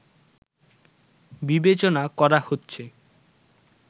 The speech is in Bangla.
বিবেচনা করা হচ্ছে